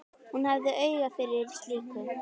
Hún hafði auga fyrir slíku.